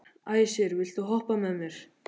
Æsir, viltu hoppa með mér?